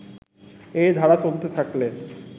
এ ধারা চলতে থাকলে